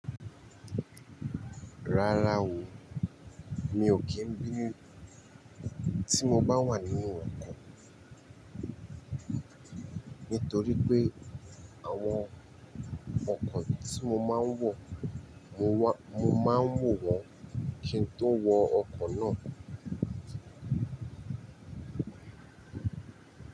Rárá o, mi ò kí ń bínú tí mo bá wà ní inu ọkọ̀, nítorí pé àwọn ọkọ̀ tí mo máa ń wọ̀, mo máa ń mọ̀ wọ́n kí n tó wọ ọkọ̀ náà.